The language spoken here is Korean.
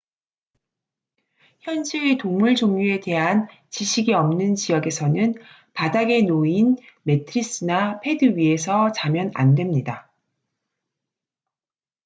현지의 동물 종류에 대한 지식이 없는 지역에서는 바닥에 놓인 매트리스나 패드 위에서 자면 안 됩니다